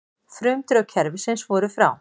Frumdrög kerfisins voru frá